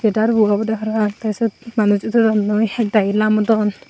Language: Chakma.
condectar bu obode parapang the sut manuchun udodonnoi ek dagi lamodon.